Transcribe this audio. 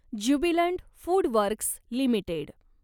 Jubilant FoodWorks limited